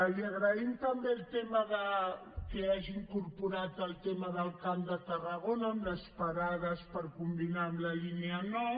li agraïm també que hagi incorporat el tema del camp de tarragona amb les parades per combinar amb la línia nou